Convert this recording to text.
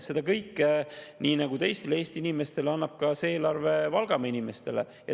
Seda kõike annab see eelarve Valgamaa inimestele nii nagu teistele Eesti inimestele.